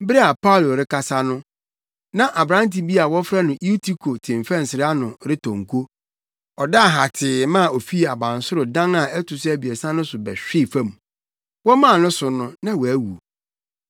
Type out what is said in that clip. Bere a Paulo rekasa no, na aberante bi a wɔfrɛ no Eutiko te mfɛnsere ano retɔ nko. Ɔdaa hatee ma ofii abansoro dan a ɛto so abiɛsa no so bɛhwee fam. Wɔmaa no so no na wawu.